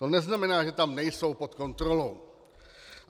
To neznamená, že tam nejsou pod kontrolou.